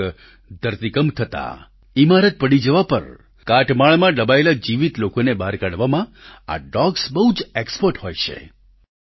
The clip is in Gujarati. ક્યાંક ધરતીકંપ થતાં ઈમારત પડી જવા પર કાટમાળમાં દબાયેલા જીવીત લોકોને બહાર કાઢવામાં આ ડોગ્સ બહુ એક્સપર્ટ હોય છે